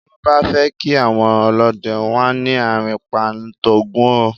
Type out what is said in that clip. Bí wọ́n bá fẹ́ kí àwọn ọlọ́dẹ, wọ́n á ní "àrìnpa ń t'Ògún o".